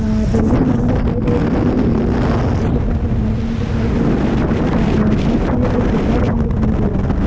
Building बनी दिखाई दे रही है नीला कलर का एक छोटा सा घर बना दिखाई दे रहा है बस में एक गुड्डा बना हुआ दिखाई दे रहा है।